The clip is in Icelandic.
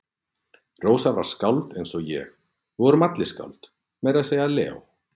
Rósar var skáld eins og ég, við vorum allir skáld, meira að segja Leó.